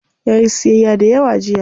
Yayi siyyaya dayawa jiya.